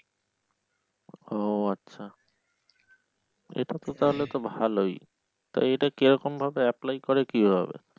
ও আচ্ছা এটা তো তাহলে তো ভালই তা এটা কিরকম ভাবে apply করে কিভাবে?